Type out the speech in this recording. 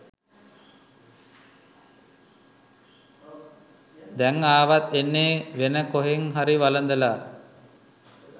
දැං ආවත් එන්නේ වෙන කොහෙන් හරි වළඳලා